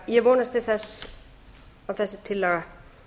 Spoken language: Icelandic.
ég vonast því til þess að þessi tillaga